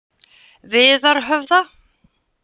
Viðarhöfða